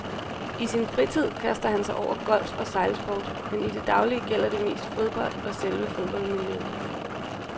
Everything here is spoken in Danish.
I sin fritid kaster han sig over golf og sejlsport, men i det daglige gælder det mest fodbold og selve fodboldmiljøet.